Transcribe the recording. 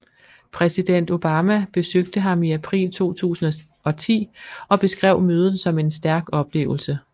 Præsident Obama besøgte ham i april 2010 og beskrev mødet som en stærk oplevelse